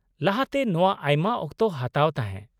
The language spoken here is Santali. -ᱞᱟᱦᱟᱛᱮ ᱱᱚᱶᱟ ᱟᱭᱢᱟ ᱚᱠᱛᱚ ᱦᱟᱛᱟᱣ ᱛᱟᱦᱮᱸ ᱾